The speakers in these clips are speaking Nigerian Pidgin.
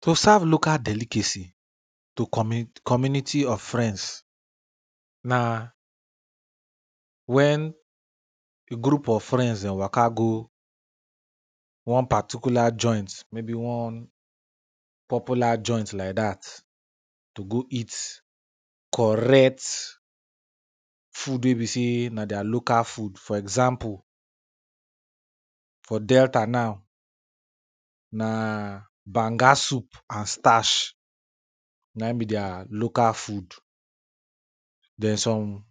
To serve local delicacy, to commi, community of friends, na when a group of friends den waka go one particular joint, maybe one popular joint like dat to go eat correct food wey be sey, na deir local food for example, for delta now, na banga soup and starch na in be deir local food, den some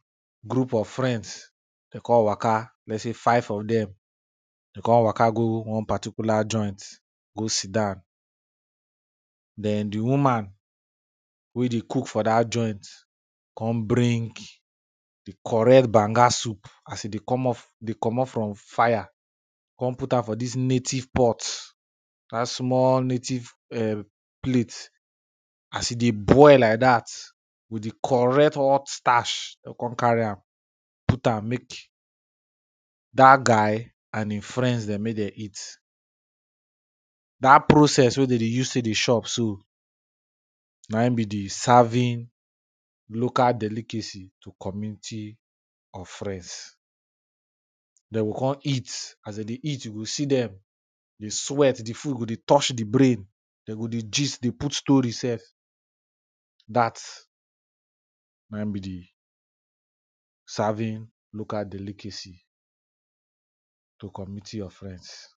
group of friends de con waka lets sey five of dem, de con waka go one particular joint go sit down, den di woman wey dey cook for dat joint con bring di correct banga soup as e dey come off, dey comot from fire, con put am for dis native pot, one small native plate as e dey boil like dat with di correct hot starch, con carry am put am mek, dat guy and in friends dem mek de eat. Dat process wey de dey use tey dey chop so, na in be di serving local delicacy to community of friends, de o con eat as de dey eat you go see dem dey sweat, di food go dey touch di brain, de go dey gist dey put story sef, dat na in be di serving local delicacy to community of friends.